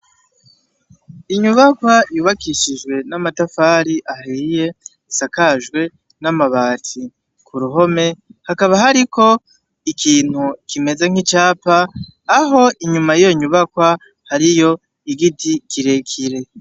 Inyubakwa yubakishijwe n'amatafari ahiye, isakajwe n'amabati. Kuruhome hakaba hariko ikintu kimeze nk'icapa ,aho inyuma yiyo nyubakwa hariyo igiti kirekire.